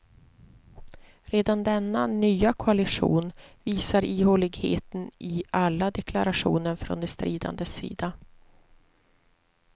Redan denna nya koalition visar ihåligheten i alla deklarationer från de stridandes sida.